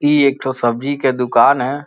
ई एक ठो सब्जी के दुकान है।